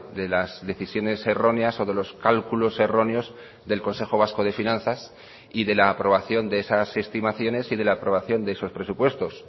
de las decisiones erróneas o de los cálculos erróneos del consejo vasco de finanzas y de la aprobación de esas estimaciones y de la aprobación de esos presupuestos